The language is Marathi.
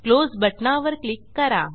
क्लोज बटणावर क्लिक करा